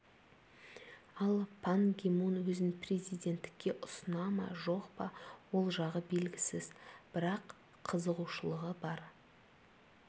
ал пан ги мун өзін президенттікке ұсына ма жоқ па ол жағы белгісіз бірақ қызығушылығы бар